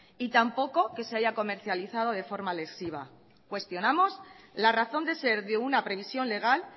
y tampoco que se haya comercializado de forma lesiva cuestionamos la razón de ser de una previsión legal